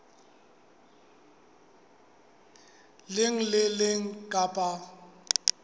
leng le le leng kapa